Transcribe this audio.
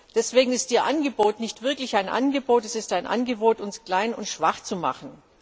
Deswegen ist Ihr Angebot nicht wirklich ein Angebot es ist ein Angebot, uns klein und schwach zu machen.